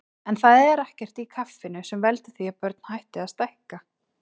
En það er ekkert í kaffinu sem veldur því að börn hætti að stækka.